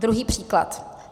Druhý příklad.